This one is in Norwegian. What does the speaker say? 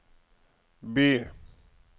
by